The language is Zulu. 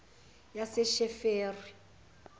yasesheferi